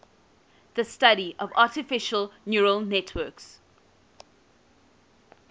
the study of artificial neural networks